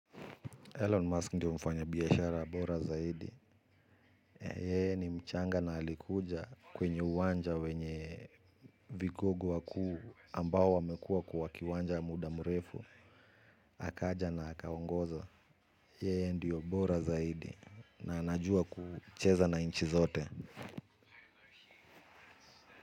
Elon Musk ndio mfanyabiashara bora zaidi. Yeye ni mchanga na alikuja kwenye uwanja wenye vigogo wakuu ambao wamekuwa kwa kiwanja muda mrefu. Akaja na akaongoza. Yee ndio bora zaidi. Na najua kucheza na nchi zote.